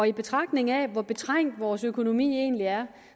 i betragtning af hvor betrængt vores økonomi egentlig er